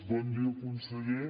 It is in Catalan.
bon dia conseller